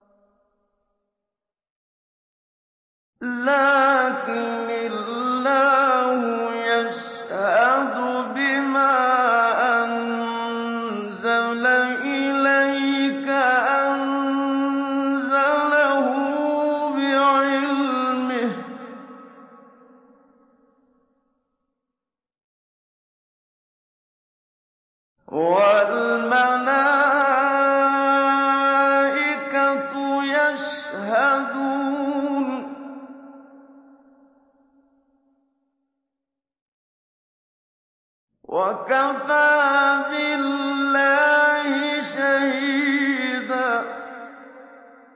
لَّٰكِنِ اللَّهُ يَشْهَدُ بِمَا أَنزَلَ إِلَيْكَ ۖ أَنزَلَهُ بِعِلْمِهِ ۖ وَالْمَلَائِكَةُ يَشْهَدُونَ ۚ وَكَفَىٰ بِاللَّهِ شَهِيدًا